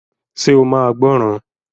Ṣe o máa gbọ́ràn?